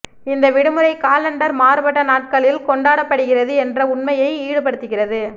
இந்த விடுமுறை காலண்டர் மாறுபட்ட நாட்களில் கொண்டாடப்படுகிறது என்ற உண்மையை ஈடுபடுத்துகிறது